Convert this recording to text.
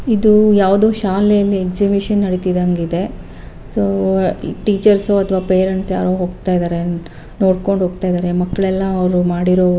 ಇದು ಯಾವ್ದೋ ಶಾಲೆಯಲ್ಲಿ ಎಕ್ಸಿಬಿಷನ್ ನಡಿತಿದ್ದಂಗ್ ಇದೆ ಸೊ ಟೀಚರ್ಸ್ ಅಥವಾ ಪೇರೆಂಟ್ಸ್ ಯಾರೋ ಹೋಗ್ತಾ ಇದ್ದಾರೆ ನೋಡ್ಕೊಂಡ್ ಹೋಗ್ತಾ ಇದ್ದಾರೆ ಮಕ್ಕಳೆಲ್ಲಅವ್ರು ಮಾಡಿರೋ --